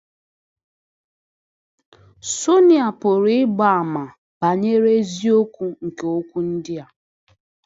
Sonịa pụrụ ịgba àmà banyere eziokwu nke okwu ndị a.